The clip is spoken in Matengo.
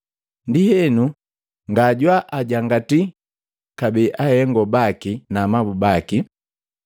ndienu, ngajwaajangati kabee ahengo baki na amabu baki.